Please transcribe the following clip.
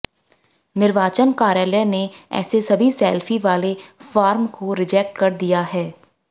निर्वाचन कार्यालय ने ऐसे सभी सेल्फी वाले फार्म को रिजेक्ट कर दिया है